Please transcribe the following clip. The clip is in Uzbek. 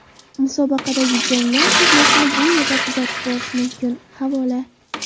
Musobaqadagi janglar videosini bu yerda kuzatib borish mumkin havola .